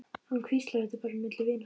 Hann hvíslar, þetta er bara milli vina.